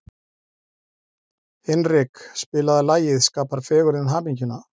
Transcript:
Hinrik, spilaðu lagið „Skapar fegurðin hamingjuna“.